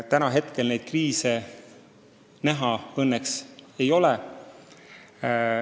Praegu suuri kriise näha õnneks ei ole.